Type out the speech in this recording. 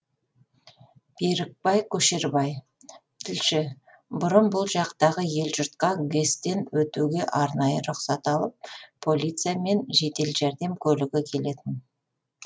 берік көшербай тілші бұрын бұл жақтағы ел жұртқа гэс тен өтуге арнайы рұқсат алып полиция мен жедел жәрдем көлігі келетін